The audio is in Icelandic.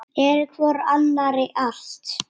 Eru hvor annarri allt.